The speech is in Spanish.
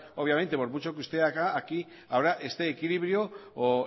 obviamente por mucho que usted haga aquí ahora este equilibrio o